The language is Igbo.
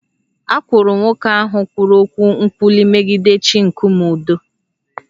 A kwụrụ nwoke ahụ kwuru okwu nkwulu megide chi nkume ụdọ